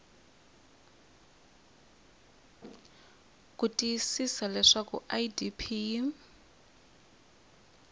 ku tiyisisa leswaku idp yi